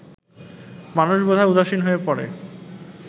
মানুষ বোধহয় উদাসীন হয়ে পড়ে